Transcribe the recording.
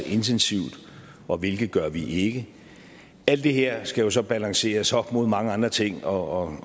intensivt og hvilke gør vi ikke alt det her skal jo så balanceres op imod mange andre ting og